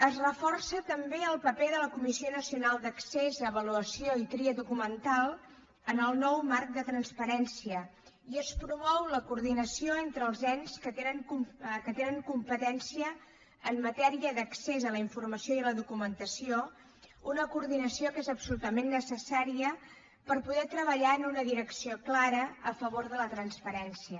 es reforça també el paper de la comissió nacional d’ac cés avaluació i tria documental en el nou marc de trans parència i es promou la coordinació entre els ens que tenen competència en matèria d’accés a la informació i a la documentació una coordinació que és absolutament necessària per poder treballar en una direcció clara a favor de la transparència